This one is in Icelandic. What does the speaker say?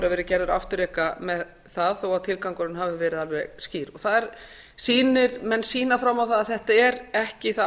verið gerður afturreka með það þó að tilgangurinn hafi verið alveg skýr menn sýna fram á það að þetta er ekki það